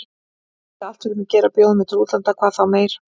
Vildu allt fyrir mig gera, bjóða mér til útlanda hvað þá meir.